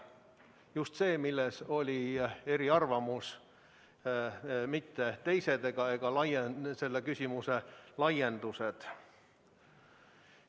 Just see, mille puhul oli eriarvamus, mitte teised ega selle küsimuse laiendused.